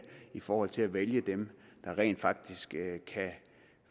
i forhold til at vælge dem der rent faktisk kan